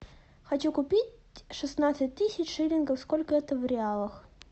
хочу купить шестнадцать тысяч шиллингов сколько это в реалах